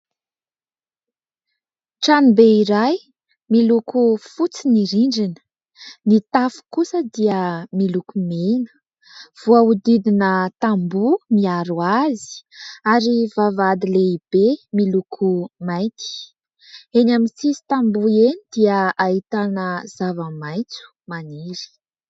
Tranobe iray miloko fotsy ny rindrina, ny tafo kosa dia miloko mena, voahodidina tamboho miaro azy ary vavahady lehibe miloko mainty. Eny amin'ny sisin-tamboho eny dia ahitana zavamaitso maniry.